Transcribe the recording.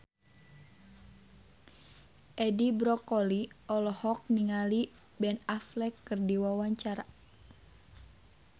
Edi Brokoli olohok ningali Ben Affleck keur diwawancara